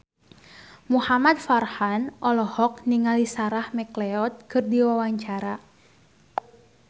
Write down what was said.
Muhamad Farhan olohok ningali Sarah McLeod keur diwawancara